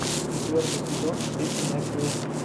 четвертый сезон фильм нэшвилл